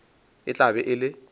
e tla be e le